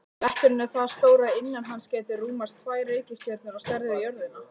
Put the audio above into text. Bletturinn er það stór að innan hans gætu rúmast tvær reikistjörnur á stærð við jörðina.